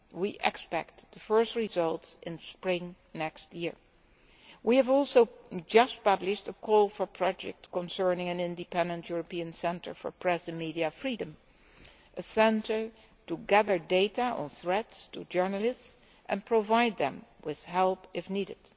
We can expect the first results in the spring of next year. We have also just published a call for projects concerning an independent European Centre for Press and Media Freedom a centre to gather data on threats to journalists and provide them with help if needed.